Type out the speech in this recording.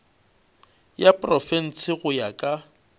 ya profense go ya ka